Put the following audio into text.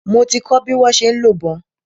Mo ti kọ́ bi wọ́n ṣe ń lo ìbọn.